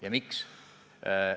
Ja miks?